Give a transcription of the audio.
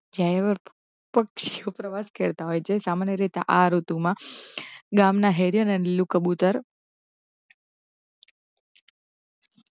પક્ષી ઓ સમાન્ય રીતે આ ઋતુમા ગામ ના હેરે રંગીલો કબૂતર